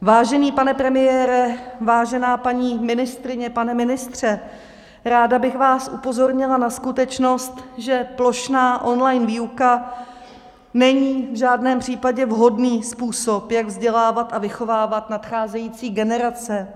Vážený pane premiére, vážená paní ministryně, pane ministře, ráda bych vás upozornila na skutečnost, že plošná online výuka není v žádném případě vhodný způsob, jak vzdělávat a vychovávat nadcházející generace.